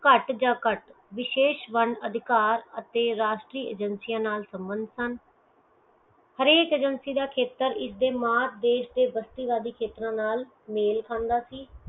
ਕਟ ਜਾ ਕਟ ਵਿਸ਼ੇਸ਼ ਅਧਿਕਾਰ ਅਤੇ ਰਾਸ਼ਟਰੀਯ agency ਨਾਲ ਸਮਰਥ ਹਨ ਹਰੇਕ ਏਜੇਂਸੀ ਦਾ ਖੇਤਰ ਇਸ ਦੇ mark ਦੇਸ਼ ਦੇ ਬਸਤੀ ਵੱਡੀ ਖੇਤਰ ਨਾਲ ਮੇਲ ਖਾਂਦਾ ਸੀ